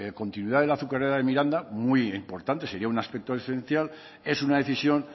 continuidad de la azucarera de miranda muy importante sería un aspecto esencial es una decisión